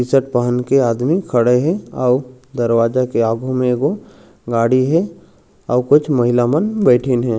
T shirt पहन के आदमी खड़े हे अउ दरवाजा के आगु म ए गो गाड़ी हे अउ कुछ महिला मन बैठीन हे।